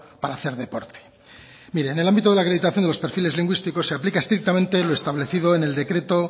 para hacer deporte mire en el ámbito de la acreditación de los perfiles lingüísticos se aplica estrictamente lo establecido en el decreto